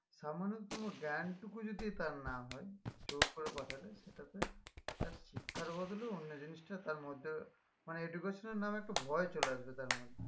সামান্যতম জ্ঞানটুকু যদি তার না হয় জোর করে পাঠালে সেটাতে তার শিক্ষার বদলে অন্য জিনিসটা তার মধ্যে মানে education এর নামে একটা ভয় চলে আসবে তার মধ্যে